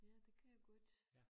Ja det kan jeg godt